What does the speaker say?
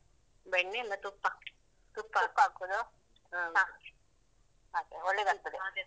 ಬೆಣ್ಣೆ ಅಲ್ಲ ತುಪ್ಪ, ಹಾ, ಹಾಗೆ ಒಳ್ಳೇದಾಗ್ತದೆ.